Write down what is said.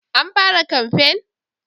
An fara kamfen?